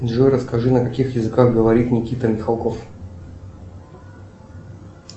джой расскажи на каких языках говорит никита михалков